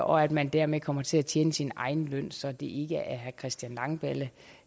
og at man derved kommer til at tjene sin egen løn så det ikke er herre christian langballe